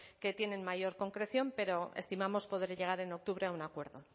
que tienen mayor concreción pero estimamos poder llegar en octubre a un acuerdo